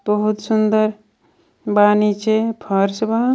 बहुत सुन्दर बा नीचे फर्श बा।